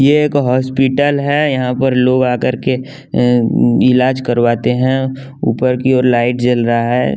ये एक हॉस्पिटल है यहाँ पर लोग आकर के अं इलाज करवाते हैं ऊपर की ओर लाइट जल रहा है।